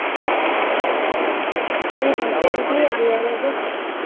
হ্যাঁ এই Recently এর মধ্যে